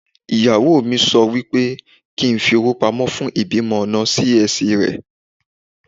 Ìyàwó mi sọ wípé kín fi owó pamọ́ fún ìbímọ ọ̀nà Sí-Ẹsì rẹ̀.